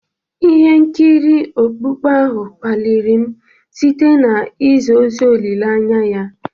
Ihe nkiri okpukpe ahụ kpaliri m site na izi ozi olileanya ya.